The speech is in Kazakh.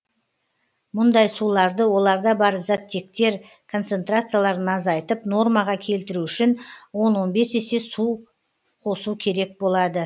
мұндай суларды оларда бар заттектер концентрацияларын азайтып нормаға келтіру үшін он он бес есе су қосу керек болады